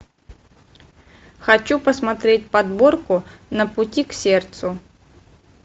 хочу посмотреть подборку на пути к сердцу